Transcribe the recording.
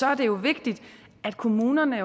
er det jo vigtigt at kommunerne i